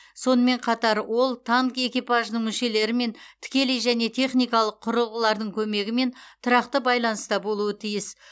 сонымен қатар ол танк экипажының мүшелерімен тікелей және техникалық құрылғылардың көмегімен тұрақты байланыста болуы тиіс